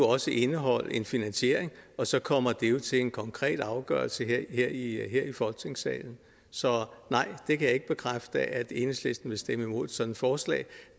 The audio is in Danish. også indeholde en finansiering og så kommer det jo til en konkret afgørelse her i folketingssalen så nej jeg kan ikke bekræfte at enhedslisten vil stemme imod sådan et forslag